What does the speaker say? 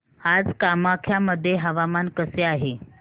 आज कामाख्या मध्ये हवामान कसे आहे